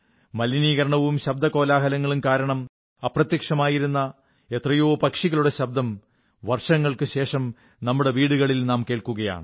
മലിനീകരണവും ശബ്ദകോലാഹലങ്ങളും കാരണം അപ്രത്യമായിരുന്ന എത്രയോ പക്ഷികളുടെ ശബ്ദം വർഷങ്ങൾക്കുശേഷം നമ്മുടെ വീടുകളിൽ നാം കേൾക്കുകയാണ്